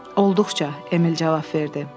Olduqca, Emil cavab verdi.